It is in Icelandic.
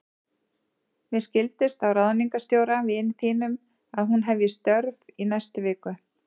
Mér skildist á ráðningarstjóra, vini þínum, að hún hefji störf í næstu viku.